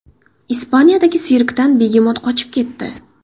Ispaniyadagi sirkdan begemot qochib ketdi .